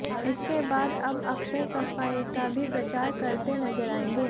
इसके बाद अब अक्षय सफाई का भी प्रचार करते नजर आएंगे